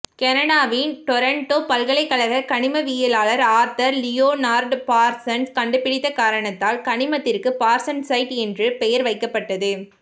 கனடாவின் டொரண்டோ பல்கலைக்கழக கனிமவியலாளர் ஆர்த்தர் லியோனார்டு பார்சன்சு கண்டுபிடித்த காரணத்தால் கனிமத்திற்கு பார்சன்சைட்டு என்ற பெயர் வைக்கப்பட்டது